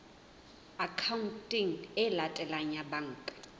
akhaonteng e latelang ya banka